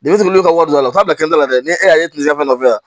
Bitɔn olu ka wari don a la fo ka bɛn n'a la dɛ ne y'a ye kileman fɛ nɔfɛ